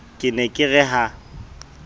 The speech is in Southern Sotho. ke ne ke re ha